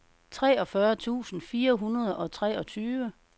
treogfyrre tusind fire hundrede og treogtyve